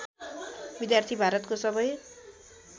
विद्यार्थी भारतको सबै